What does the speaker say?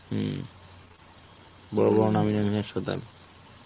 হম বড় বড় নামী নামী হাসপাতাল.